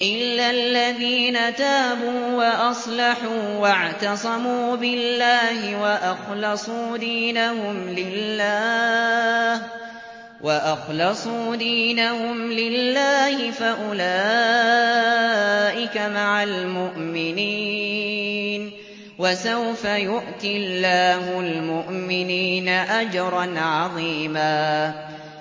إِلَّا الَّذِينَ تَابُوا وَأَصْلَحُوا وَاعْتَصَمُوا بِاللَّهِ وَأَخْلَصُوا دِينَهُمْ لِلَّهِ فَأُولَٰئِكَ مَعَ الْمُؤْمِنِينَ ۖ وَسَوْفَ يُؤْتِ اللَّهُ الْمُؤْمِنِينَ أَجْرًا عَظِيمًا